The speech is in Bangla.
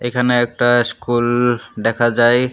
এখানে একটা স্কুল দেখা যায়।